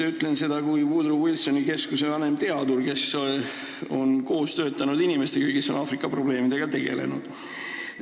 Ma ütlen seda kui Woodrow Wilsoni Keskuse vanemteadur, kes on koos töötanud inimestega, kes on Aafrika probleemidega tegelenud.